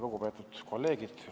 Lugupeetud kolleegid!